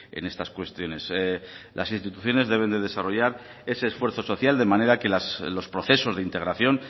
en estas cuestiones las instituciones deben de desarrollar ese esfuerzo social de manera que los procesos de integración